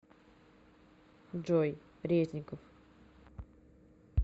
джой резников